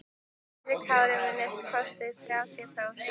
Höskuldur Kári: Minnsta kosti þrjátíu prósent?